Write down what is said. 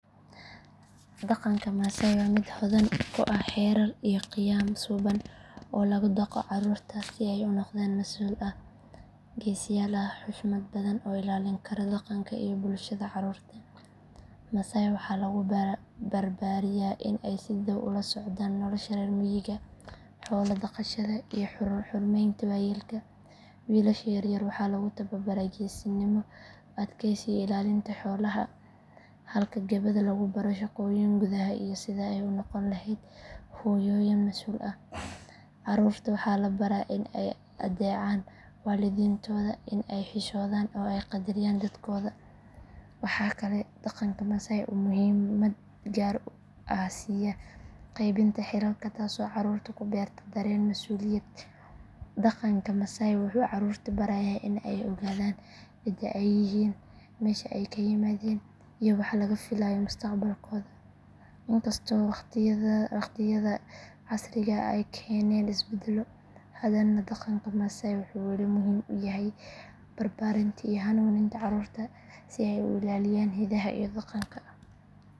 Dhaqanka maasai waa mid hodan ku ah xeerar iyo qiyam suubban oo lagu dhaqo carruurta si ay u noqdaan dad masuul ah, geesiyaal ah, xushmad badan oo ilaalin kara dhaqanka iyo bulshada. Carruurta maasai waxaa lagu barbaariyaa in ay si dhow ula socdaan nolosha reer miyiga, xoolo dhaqashada iyo xurmeynta waayeelka. Wiilasha yar yar waxaa lagu tababaraa geesinimo, adkaysi iyo ilaalinta xoolaha halka gabdhaha lagu baro shaqooyinka gudaha iyo sidii ay u noqon lahaayeen hooyooyin mas’uul ah. Carruurta waxaa la baraa in ay adeecaan waalidiintooda, in ay xishoodaan oo ay qadariyaan dadkooda. Waxa kale oo dhaqanka maasai uu muhiimad gaar ah siyaa qaybinta xilalka taasoo carruurta ku beerta dareen masuuliyad. Dhaqanka maasai wuxuu carruurta barayaa in ay ogaadaan cidda ay yihiin, meesha ay ka yimaadeen iyo waxa laga filayo mustaqbalkooda. Inkastoo waqtiyada casriga ah ay keeneen isbeddelo, haddana dhaqanka maasai wuxuu weli muhiim u yahay barbaarinta iyo hanuuninta carruurta si ay u ilaaliyaan hidaha iyo dhaqanka.